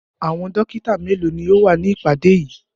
Àwọn dọ́kítá mélòó ni ó wà ní ìpàdé yìí?